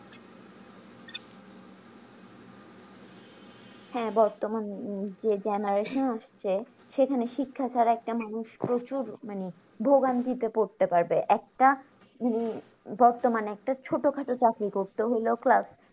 হ্যাঁ বর্তমান যে generation আসছে সেখানে শিক্ষা ছাড়া একটা মানুষ প্রচুর মানে ভোগান্তিতে পড়তে পারবে একটা উম বর্তমানে একটা ছোটোখাটো চাকরি করতে হইলেও class